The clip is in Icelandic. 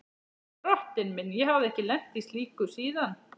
Drottinn minn, ég hafði ekki lent í slíku síðan.